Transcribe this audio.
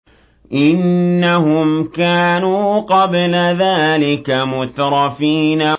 إِنَّهُمْ كَانُوا قَبْلَ ذَٰلِكَ مُتْرَفِينَ